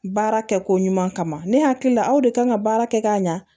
Baara kɛ ko ɲuman kama ne hakili la aw de kan ka baara kɛ ka ɲa